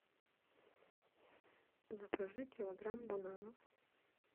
закажи килограмм бананов